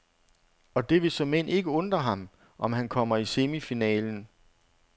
Og det vil såmænd ikke undre ham, om han kommer i semifinalen.